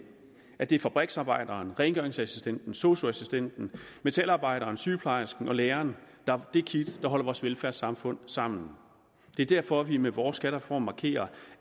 at det er fabriksarbejderen rengøringsassistenten sosu assistenten metalarbejderen sygeplejersken og læreren der er det kit der holder vores velfærdssamfund sammen det er derfor at vi med vores skattereform markerer